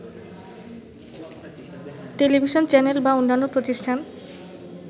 television channel বা অন্যান্য প্রতিষ্ঠান